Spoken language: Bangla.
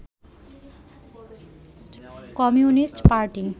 communist party